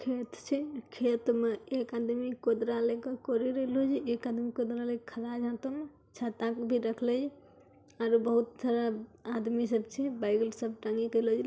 खेत छै खेत मैं एक आदमी खोदराले कोरिरेलो हैं । एक आदमी खोदरा लेक खला जातमं । छाता भी रखलय छे और बोहोत सारा आदमी सच्ची । बैग वेग सब टांगी कलोल छे ।